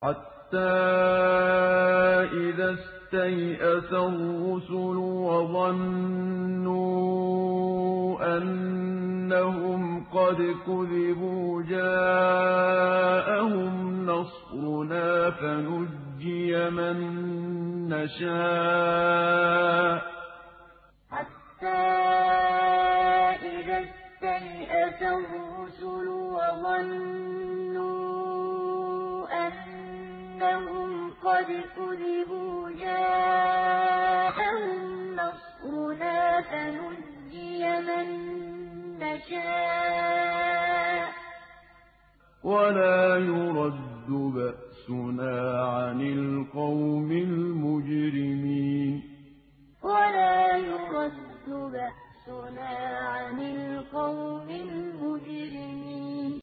حَتَّىٰ إِذَا اسْتَيْأَسَ الرُّسُلُ وَظَنُّوا أَنَّهُمْ قَدْ كُذِبُوا جَاءَهُمْ نَصْرُنَا فَنُجِّيَ مَن نَّشَاءُ ۖ وَلَا يُرَدُّ بَأْسُنَا عَنِ الْقَوْمِ الْمُجْرِمِينَ حَتَّىٰ إِذَا اسْتَيْأَسَ الرُّسُلُ وَظَنُّوا أَنَّهُمْ قَدْ كُذِبُوا جَاءَهُمْ نَصْرُنَا فَنُجِّيَ مَن نَّشَاءُ ۖ وَلَا يُرَدُّ بَأْسُنَا عَنِ الْقَوْمِ الْمُجْرِمِينَ